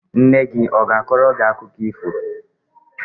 Nne gị a ga-akọrọ gị akụkọ ifo?